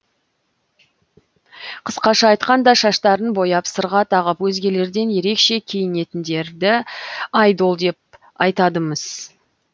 қысқаша айтқанда шаштарын бояп сырға тағып өзгелерден ерекше киінетіндерді айдол деп атайды міс